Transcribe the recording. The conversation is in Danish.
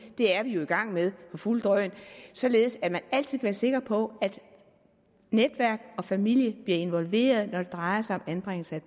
det er vi jo i gang med på fuldt drøn således at man altid kan være sikker på at netværk og familie bliver involveret når det drejer sig om anbringelse